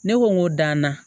Ne ko n ko danna